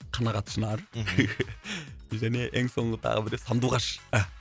қанағат шынар және ең соңғы тағы біреу сандуғаш а